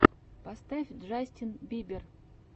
поставь джастин бибер